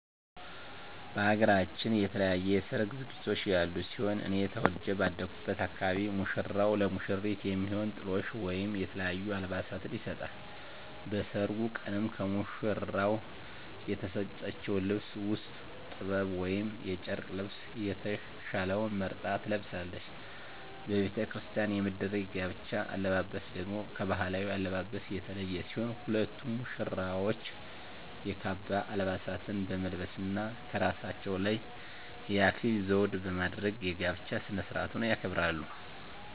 በሃገራችን የተለያዩ የሰርግ ዝግጅቶች ያሉ ሲሆን እኔ ተወልጀ ባደኩበት አካባቢ ሙሽራው ለሙሽሪት የሚሆን ጥሎሽ ወይም የተለያዩ አልባሳትን ይሰጣል። በሰርጉ ቀንም ከሙሽራው የተሰጠችውን ልብስ ውስጥ ጥበብ ወይም የጨርቅ ልብሰ የተሻለውን መርጣ ትለብሳለች። በቤተክርስቲያን የሚደረግ የጋብቻ አለባበስ ደግሞ ከባህላዊው አለባበስ የተለየ ሲሆን ሁለቱም ሙሽራዎች የካባ አልባሳትን በመልበስ እና ከራሳቸው ላይ የአክሊል ዘውድ በማድረግ የጋብቻ ስርአቱን ያከብራሉ።